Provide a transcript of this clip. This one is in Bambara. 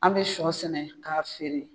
An bɛ sɔ sɛnɛ k'a feere.